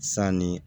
San ni